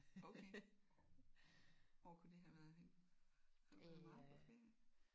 Okay. Hvor kunne det have været henne? Har du været meget på ferie?